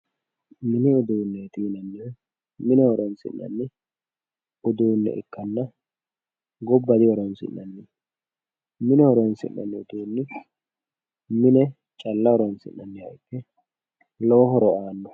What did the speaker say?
Mini uduuneti yineemmohu mine horonsi'nanni uduune ikkanna gobba dihoronsi'nanni ,mine horonsi'nanni uduuni mine horonsi'nanniha calla ikke lowo horo aano.